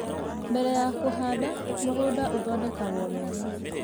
Mbere ya kũhanda, mũgũnda ũthondekagwo wega